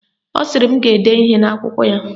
Ọ sịrị m ga-ede ihe n'akwụkwọ ya